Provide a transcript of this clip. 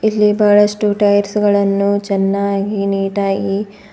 ಇಲ್ಲಿ ಬಹಳಷ್ಟು ಟೈರ್ಸ್ ಗಳನ್ನು ಚೆನ್ನಾಗಿ ನೀಟಾಗಿ--